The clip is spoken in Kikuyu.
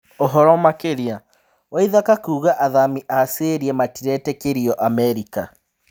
Ũhoro makĩria waithaka kuga athami a syria matiretĩkĩrio Amerika,